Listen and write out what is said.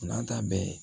N'an ta bɛɛ